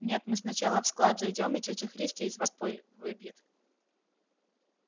нет мы сначала в склад зайдём и тётя христя из вас пыль выбьет